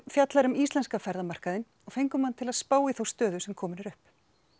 fjallar um íslenska ferðamarkaðinn og fengum hann til að spá í þá stöðu sem komin er upp